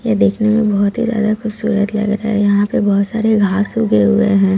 ये देखने में बहुत ही ज्यादा खूबसूरत लग रहा है यहां पे बहुत सारे घास उगे हुए हैं।